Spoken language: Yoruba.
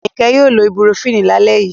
Ayinke yoo lo ibupurofínì la le yii